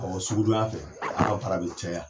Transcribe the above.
Ɔ sugudon ya fɛ anw ka baara be cayara